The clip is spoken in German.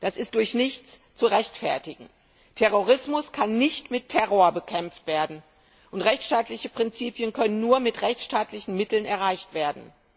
Das ist durch nichts zu rechtfertigen. Terrorismus kann nicht mit Terror bekämpft werden, und rechtsstaatliche Prinzipien können nur mit rechtsstaatlichen Mitteln erreicht werden.